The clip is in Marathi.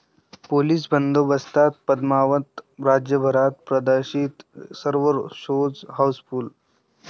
पोलीस बंदोबस्तात पद्मावत राज्यभरात प्रदर्शित, सर्व शोज हाऊसफुल्ल